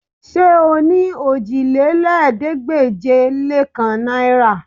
Ṣé o ní òjìlélẹ́ẹ̀ẹ́dégbèje-lé-kan náìrà?